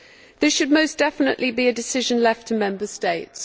This should most definitely be a decision left to Member States.